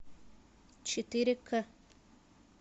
четыре к